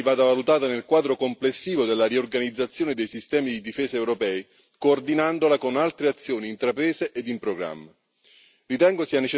Credo che questa ipotesi vada valutata nel quadro complessivo della riorganizzazione dei sistemi di difesa europei, coordinandola con altre azioni intraprese ed in programma.